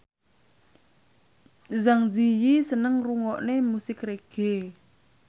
Zang Zi Yi seneng ngrungokne musik reggae